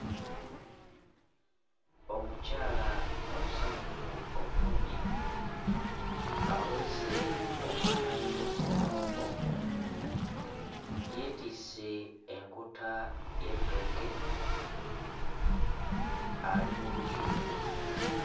Omukyala omusanyufu obulungi aweese omwana we mu mugongo, yeetisse enkota y'ettooke ali mu lusuku.